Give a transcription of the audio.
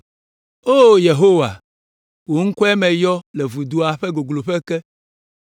O Yehowa, wò ŋkɔe meyɔ le vudoa ƒe gogloƒe ke.